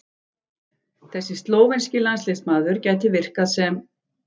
Þessi slóvenski landsliðsmaður gæti virkað sem